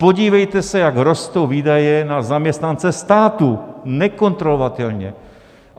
Podívejte se, jak rostou výdaje na zaměstnance státu, nekontrolovatelně.